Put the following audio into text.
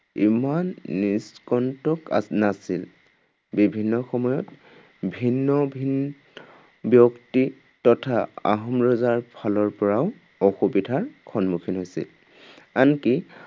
ইমান নিষ্কণ্টক আহ নাছিল। বিভিন্ন সময়ত ভিন্ন ভিন, ব্যক্তি তথা আহোম ৰজাৰ ফালৰ পৰাও অসুবিধাৰ সন্মুখীন হৈছিল। আনকি